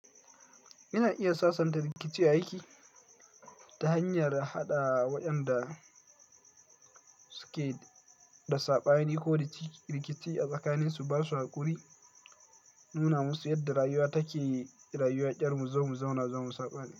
Ina iya sasanta rikici a aiki ta hanyar haɗa waɗanda suke da saɓani ko rikici a tsakaninsu, ba sa haƙuri, nuna musu yadda rayuwa take, rayuwa ƙyar mu za mu zauna zamu saɓani.